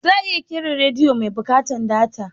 Za'a iya ƙera rediyo mai buƙatan data.